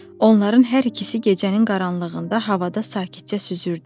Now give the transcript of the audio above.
Onların hər ikisi gecənin qaranlığında havada sakitcə süzürdü.